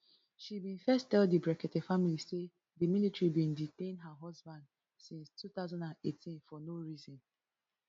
she bin first tell di brekete family say di military bin detain her husband since two thousand and eighteen for no reason